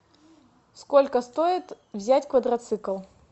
сколько стоит взять квадроцикл